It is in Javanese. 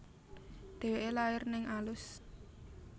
Déwéké lahir neng Alus